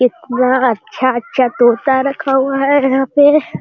इतना अच्छा-अच्छा तोता रखा हुआ है यहाँ पे।